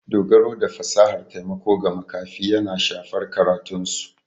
Dogaro da fasahar taimako ga makafi yana shafar karatunsu.